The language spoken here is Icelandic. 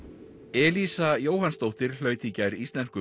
Elísa Jóhannsdóttir hlaut í gær Íslensku